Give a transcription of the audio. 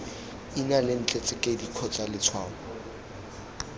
ina lentle tsekedi kgotsa letshwao